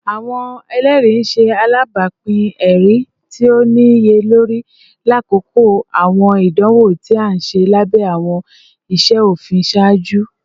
Awọn ẹlẹri ṣe alabapin ẹri ti o niyelori lakoko awọn idanwo ti a ṣe labẹ awọn iṣe ofin iṣaaju